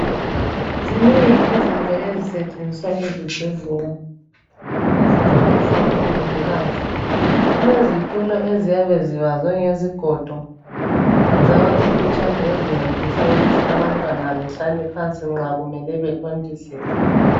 Zinengi izinto ezisetshenziswa ezibhedlela ezincedisa omongikazi. Kulezitulo eziyabe zibazwe ngezigodo zabazimfitshane ezincedisa abantwana ukuthi bahlale phansi nxa bethontiselwa.